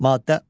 Maddə 10.